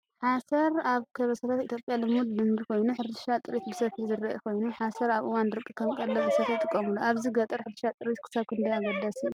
ሓሰር ኣብ ከበሳታት ኢትዮጵያ ልሙድ ልምዲ ኮይኑ፡ ሕርሻ ጥሪት ብሰፊሑ ዝረአ ኮይኑ፡ ሓሰር ኣብ እዋን ደረቕ ከም ቀለብ እንስሳታት ይጥቀሙሉ። ኣብዚ ገጠር ሕርሻ ጥሪት ክሳብ ክንደይ ኣገዳሲ እዩ?